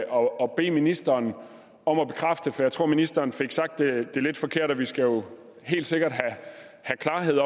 og bede ministeren om at bekræfte for jeg tror ministeren fik sagt det lidt forkert for vi skal jo helt sikkert have klarhed